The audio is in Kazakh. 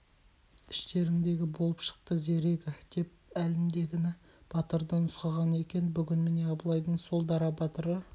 іштеріңдегі болып шықты зерегі деп әлгіндегі батырды нұсқаған екен бүгін міне абылайдың сол дара батыры